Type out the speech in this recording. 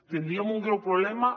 tindríem un greu problema